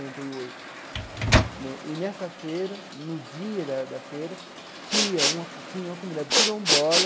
e oito né e nessa feira, no dia da da feira, tinha uma tinha uma comunidade quilombola,